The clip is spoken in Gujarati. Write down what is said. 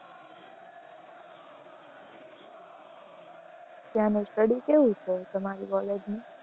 ત્યાંની study કેવી છે? તમારી college ની